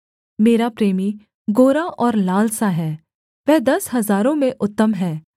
मेरा प्रेमी गोरा और लाल सा है वह दस हजारों में उत्तम है